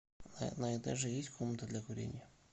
на этаже есть комната для курения